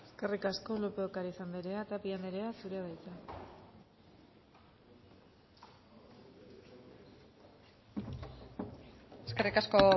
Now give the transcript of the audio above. eskerrik asko lópez de ocariz anderea tapia anderea zurea da hitza eskerrik asko